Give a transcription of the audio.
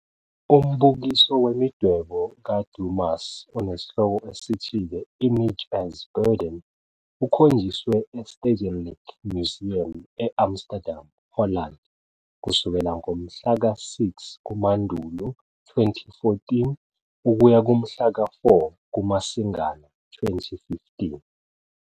Umbukiso wemidwebo kaDumas onesihloko esithi 'The Image as Burden' ukhonjiswe eStedelijk Museum e-Amsterdam, Holland kusukela ngomhlaka 6 kuMandulo 2014 ukuya kumhla ka 4 KuMasingana 2015.